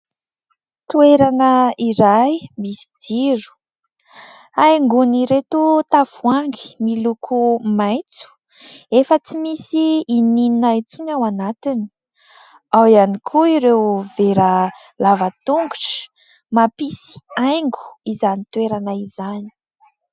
Toerana iray misy jiro, haingon'ireto tavoahangy miloko maitso efa tsy misy na inona na inona intsony ao anatiny. Ao ihany koa ireo vera lava tongotra mampisy haingo izany toerana izany.